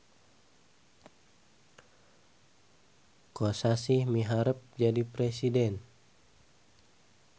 Kosasih miharep jadi presiden